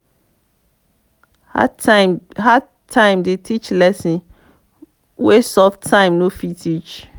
hard time dey teach lessons wey soft time no fit teach.